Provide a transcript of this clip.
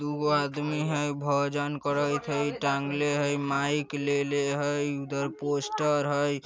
दुगो आदमी हई भोजन करइत हई टांगले हई माइक लेले हई उधर पोस्टर हई |